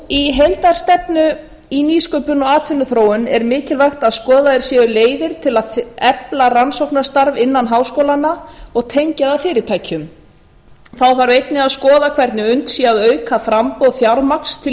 í heildarstefnu í nýsköpun og atvinnuþróun er mikilvægt að skoðaðar séu leiðir til að efla rannsóknarstarf innan háskólanna og tengja þá fyrirtækjum þá þarf einnig að skoða hvernig unnt sé að auka framboð fjármagns til